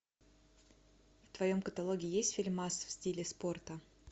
в твоем каталоге есть фильмас в стиле спорта